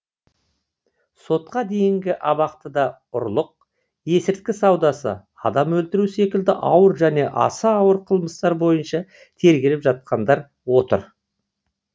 сотқа дейінгі абақтыда ұрлық есірткі саудасы адам өлтіру секілді ауыр және аса ауыр қылмыстар бойынша тергеліп жатқандар отыр